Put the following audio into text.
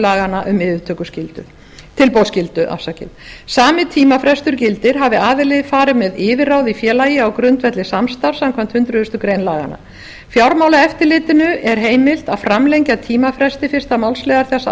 laganna um tilboðsskyldu sami tímafrestur gildir hafi aðili farið með yfirráð í félagi á grundvelli samstarfs samkvæmt hundrað greinar laganna fjármálaeftirlitinu er heimilt að framlengja tímafresti fyrsta málsliðar þessa